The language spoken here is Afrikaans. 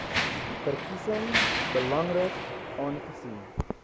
verkiesing belangrik aangesien